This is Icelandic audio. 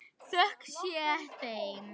Þökk sé þeim.